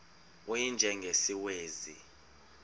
u y njengesiwezi